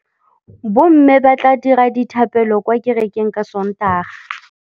Bommê ba tla dira dithapêlô kwa kerekeng ka Sontaga.